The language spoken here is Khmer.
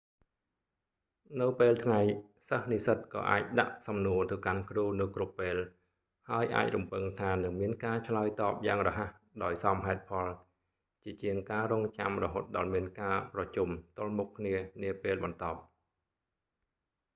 នៅពេលថ្ងៃសិស្សនិស្សិតក៏អាចដាក់សំណួរទៅកាន់គ្រូនៅគ្រប់ពេល ហើយអាចរំពឹងថានឹងមានការឆ្លើយតបយ៉ាងរហ័សដោយសមហេតុផលជាជាងការរង់ចាំរហូតដល់មានការប្រជុំទល់មុខគ្នានាពេលបន្ទាប់